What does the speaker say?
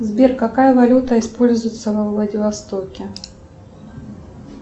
сбер какая валюта используется во владивостоке